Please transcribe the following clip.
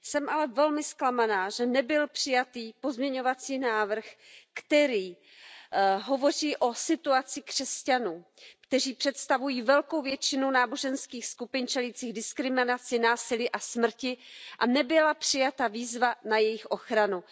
Jsem ale velmi zklamaná, že nebyl přijatý pozměňovací návrh, který hovoří o situaci křesťanů, kteří představují velkou většinu náboženských skupin čelících diskriminaci, násilí a smrti, a nebyla přijata výzva na jejich ochranu.